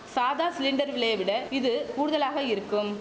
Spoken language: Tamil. சாதா சிலிண்டர் விலையை விட இது கூடுதலாக இருக்கும்